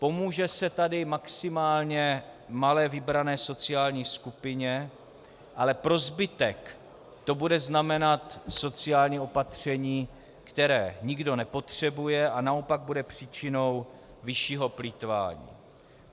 Pomůže se tady maximálně malé vybrané sociální skupině, ale pro zbytek to bude znamenat sociální opatření, které nikdo nepotřebuje a naopak bude příčinou vyššího plýtvání.